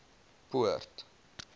poort